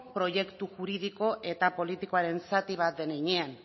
proiektu juridiko eta politikoaren zati bat den heinean